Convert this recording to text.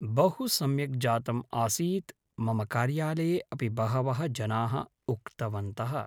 बहु सम्यक् जातम्‌ आसीत् मम कार्यालये अपि बहवः जनाः उक्तवन्तः